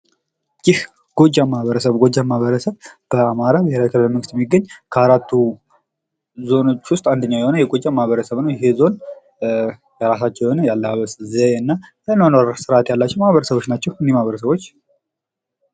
ይህ ጎጃም ማህበረሰብ ነው። የ ጎጃም ማህበረሰብ በአማራ ብሔራዊ ክልላዊ መንግስት ውስጥ የሚገኝ ከአራቱ ዞኖች ውስጥ አንዱ የሆነ የጎጃም ማህበረሰብ ነው። ይሄ ዞን የራሳቸው የሆነ ያለባበስ ዘዬ እና የአኗኗር ስርዓት ያላቸው ማህበረሰቦች ናቸው እኒህ ማህበረሰቦች።